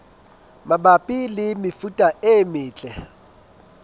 mabapi le mefuta e metle